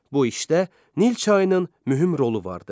Bu işdə Nil çayının mühüm rolu vardı.